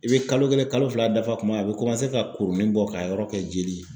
I bɛ kalo kelen, kalo fila dafa kuma a bɛ komase ka kurunin bɔ k'a yɔrɔ kɛ jeli ye.